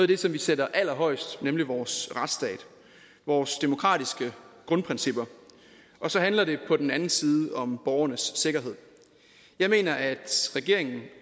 det som vi sætter allerhøjest nemlig vores retsstat vores demokratiske grundprincipper og så handler det på den anden side om borgernes sikkerhed jeg mener at regeringen